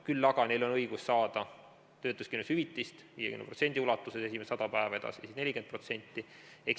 Küll aga on õigus saada töötuskindlustushüvitist 50% ulatuses esimesed 100 päeva, edasi 40%.